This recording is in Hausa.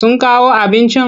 Sun kawo abincin?